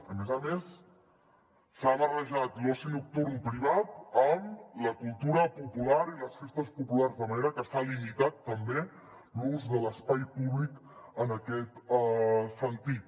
a més a més s’ha barrejat l’oci nocturn privat amb la cultura popular i les festes populars de manera que s’ha limitat també l’ús de l’espai públic en aquest sentit